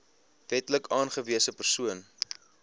wetlik aangewese persoon